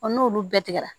n'olu bɛɛ tigɛ la